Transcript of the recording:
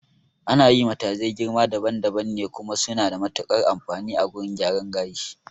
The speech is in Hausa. Ana yi matazai girma daban daban ne, kuma suna da matuƙar amfani a wurin gyaran gashi